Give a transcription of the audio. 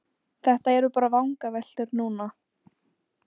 Þetta eru bara vangaveltur núna.